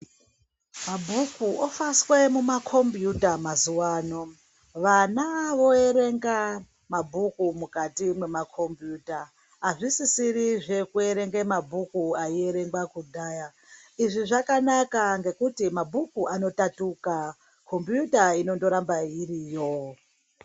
Mabhuku ofaswe mu ma kombiyuta mazuva ano vana voerenga mabhuku mukati mwe ma kombiyuta azvisiri zveku erenga mabhuku ayi erengwa kudhaya izvi zvakanaka ngekuti mabhuku ano tatuka kumbiyuta inongo ramba iriyo.